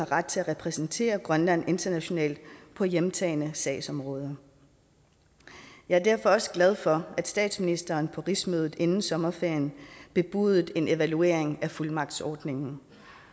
ret til at repræsentere grønland internationalt på hjemtagne sagsområder jeg er derfor også glad for at statsministeren på rigsmødet inden sommerferien bebudede en evaluering af fuldmagtsordningen